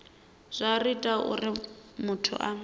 zwa ita uri muthu a